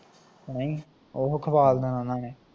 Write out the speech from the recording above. ਹੈਜੀ ਓਹੋ ਖਵਾਲ ਦੇਣਾ ਉਹਨਾਂ ਨੇ